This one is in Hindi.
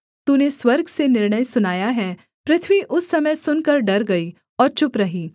तूने स्वर्ग से निर्णय सुनाया है पृथ्वी उस समय सुनकर डर गई और चुप रही